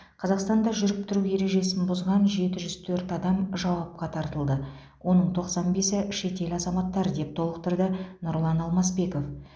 қазақстанда жүріп тұру ережесін бұзған жеті жүз төрт адам жауапқа тартылды оның тоқсан бесі шетел азаматтары деп толықтырды нұрлан алмасбеков